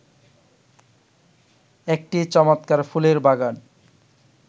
একটি চমৎকার ফুলের বাগান